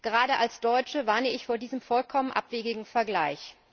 Gerade als Deutsche warne ich vor diesem vollkommen abwegigen Vergleich.